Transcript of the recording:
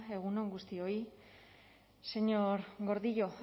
egun on guztioi señor gordillo